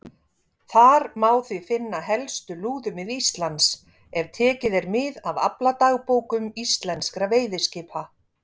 Þar má því finna helstu lúðumið Íslands, ef tekið er mið af afladagbókum íslenskra veiðiskipa.